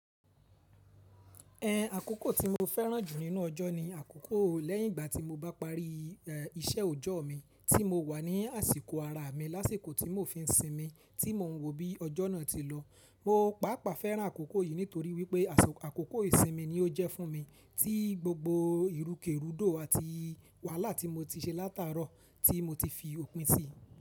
Ẹhn. Àkókò tí mo fẹ́ràn jù nínú ọjọ́ ni àkókò lẹ́yìn ìgbà tí mo bá parí iṣẹ́ òjọ́o mi, tí mo wà ní àsìkò araa mi lásìkò tí mò fi n sinmi, tí mò ń wo bí ọjọ́ náà ti lọ. Mo pàápàá fẹ́ràn àkókò yìí nítorí wípé, as, àkókò ìsinmi ni ó jẹ́ fún mi tí gbogbo ìrúkèrúdò àti wàhálà tí mo ti ṣe látàárọ̀ tí mo ti fi òpin sí.